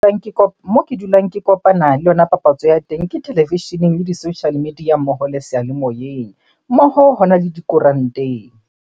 Moo ke dulang ke kopana le yona papatso ya teng ke televisheneng, le di-social media mmoho le seyalemoyeng. Mmoho hona le dikoranteng.